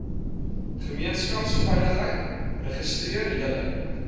gemeenskapsveiligheid registreer julle